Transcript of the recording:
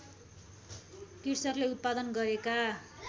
कृषकले उत्पादन गरेका